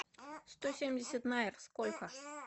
сто семьдесят найр сколько